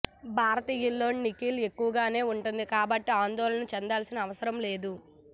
భారతీయుల్లో nickel ఎక్కువగానే ఉంటుంది కాబట్టి ఆందోళన చెందాల్సిన అవసరం లేదు